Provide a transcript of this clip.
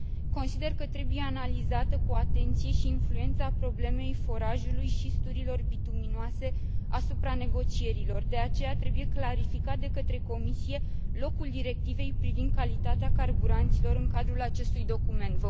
Consider că trebuie analizată cu atenție și influența problemei forajului și studiilor bituminoase asupra negocierilor, de aceea trebuie clarificat de către Comisie locul Directivei privind calitatea carburanților în cadrul acestui document.